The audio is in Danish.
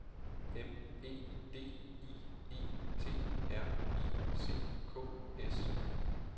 M E D I E T R I C K S